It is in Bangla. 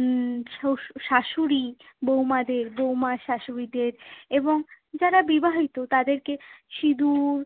উহ শো~ শাশুড়ি বৌমাদের, বৌমা শাশুড়িদের এবং যারা বিবাহিত তাদেরকে সিঁদুর,